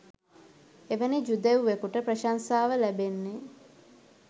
එවැනි ජුදෙව්වෙකුට ප්‍රශංසාව ලැබෙන්නේ